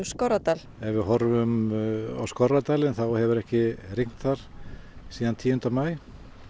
Skorradal ef við horfum á Skorradalinn þá hefur ekki rignt þar síðan tíunda maí